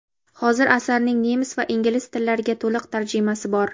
Hozir asarning nemis va ingliz tillariga to‘liq tarjimasi bor.